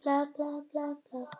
Svartasti staður á landinu